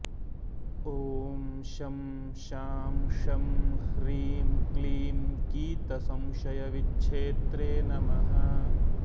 ॐ शं शां षं ह्रीं क्लीं गीतसंशयविच्छेत्रे नमः